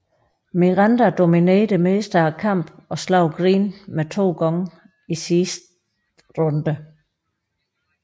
Miranda dominerede det meste af kampen og slog Green ned to gange i sidste runde